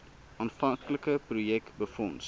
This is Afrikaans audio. aanvanklike projek befonds